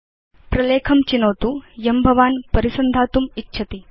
प्रलेखं चिनोतु यं भवान् परिसन्धातुम् इच्छति